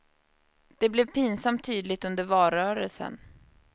Det blev pinsamt tydligt under valrörelsen.